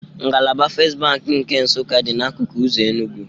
Ngalaba Fest Bank nke Nsụka dị n'akụkụ ụzọ Enugwu